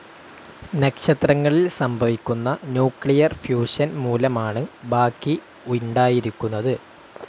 നക്ഷത്രങ്ങളിൽ സംഭവിക്കുന്ന nuclear fusion മൂലമാണ് ബാക്കി ഉണ്ടായിരിക്കുന്നത്.